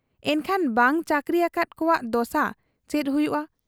ᱮᱱᱠᱷᱟᱱ ᱵᱟᱝ ᱪᱟᱹᱠᱨᱤ ᱟᱠᱟᱫ ᱠᱚᱣᱟᱜ ᱫᱚᱥᱟ ᱪᱮᱫ ᱦᱩᱭᱩᱜ ᱟ ?